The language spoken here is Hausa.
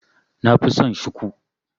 Nafi son Shiku.